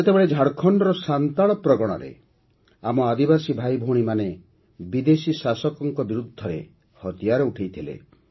ସେତେବେଳେ ଝାଡ଼ଖଣ୍ଡର ସାନ୍ତାଳ ପ୍ରଗଣାରେ ଆମ ଆଦିବାସୀ ଭାଇଭଉଣୀମାନେ ବିଦେଶୀ ଶାସକମାନଙ୍କ ବିରୁଦ୍ଧରେ ହତିଆର ଉଠାଇଥିଲେ